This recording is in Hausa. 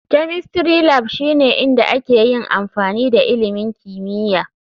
Chemistry Lab shine inda ake yin amfani da ilimin kimiyya.